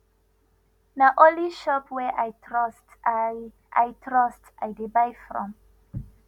na only shop wey i trust i i trust i dey buy from